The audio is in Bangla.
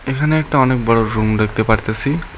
এখানে একটা অনেক বড় রুম দেখতে পারতেসি